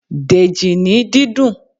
Dèjì ní dídùn!